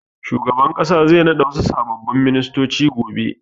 Shugaban ƙasa zai naɗa wasu sababbin ministoci gobe.